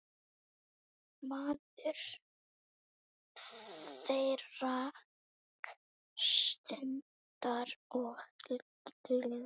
Maður þeirrar stundar og gleði.